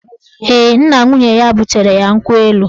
Ee, nna nwunye ya butere ya nkwụ elu